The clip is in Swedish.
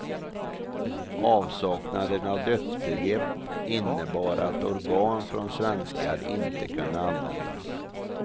Avsaknaden av dödsbegrepp innebar att organ från svenskar inte kunde användas.